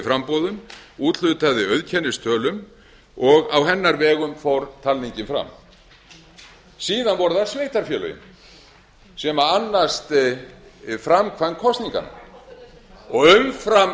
framboðum úthlutaði auðkennistölum og á hennar vegum fór talningin fram síðan voru það sveitarfélögin sem annast framkvæmd kosninga og umfram